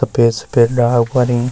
सफ़ेद सफ़ेद ला उखरीं।